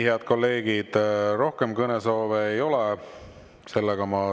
Head kolleegid, rohkem kõnesoove ei ole.